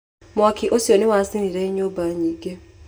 Mwaki ũcio nĩ wacinire nyũmba nyingĩ